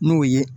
N'o ye